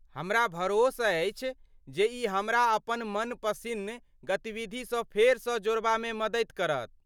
हमरा भरोस अछि जे ई हमरा अपन मनपसिन्न गतिविधिसँ फेरसँ जोड़बामे मददि करत।